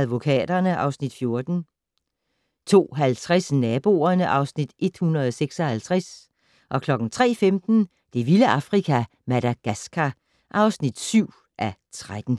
Advokaterne (Afs. 14) 02:50: Naboerne (Afs. 156) 03:15: Det vilde Afrika - Madagascar (7:13)